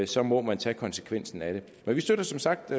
så må man tage konsekvensen af det vi støtter som sagt